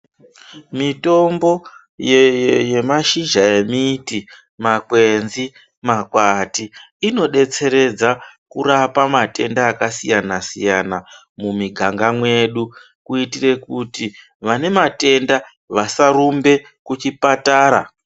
Mitombo yemashizha emiti, makwenzi, makwati, inodetseredza kurapa matenda akasiyana-siyana mumiganga mwedu kuitire kuti vanematenda vasarumbe kuchipatara.